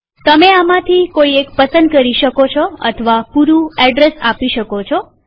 તમે આમાંથી કોઈ એક પસંદ કરી શકો છો અથવા પૂરું એડ્રેસ આપી એન્ટર દબાવો